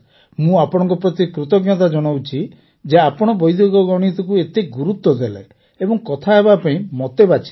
ମୁଁ ଆପଣଙ୍କ ପ୍ରତି କୃତଜ୍ଞତା ଜଣାଉଛି ଯେ ଆପଣ ବୈଦିକ ଗଣିତକୁ ଏତେ ଗୁରୁତ୍ୱ ଦେଲେ ଓ କଥା ହେବାପାଇଁ ମୋତେ ବାଛିଲେ